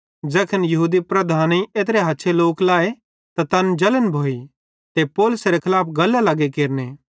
ज़ैखन यहूदी लीडरेईं एत्रे हछे लोक लाए त तैन जलन भोइ ते पौलुसेरे खलाफ गल्लां लग्गे केरने